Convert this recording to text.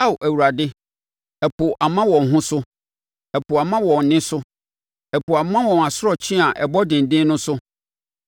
Ao Awurade, ɛpo ama wɔn ho so, ɛpo ama wɔn nne so; ɛpo ama wɔn asorɔkye a ɛbɔ denden no so.